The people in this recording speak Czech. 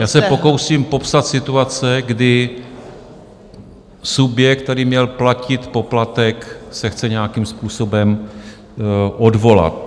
Já se pokouším popsat situaci, kdy subjekt, který měl platit poplatek, se chce nějakým způsobem odvolat.